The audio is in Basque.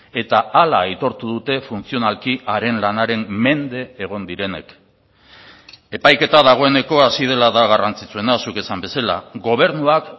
eta hala aitortu dute funtzionalki haren lanaren mende egon direnek epaiketa dagoeneko hasi dela da garrantzitsuena zuk esan bezala gobernuak